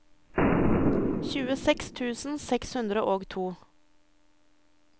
tjueseks tusen seks hundre og to